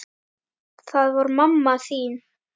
Það var mamma þín.